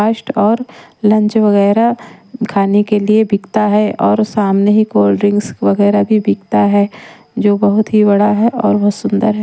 और लंच वगैरह खाने के लिए बिकता है और सामने ही कोल्ड ड्रिंक्स वगैरह भी बिकता है जो बहुत ही बड़ा है और बहुत सुंदर है।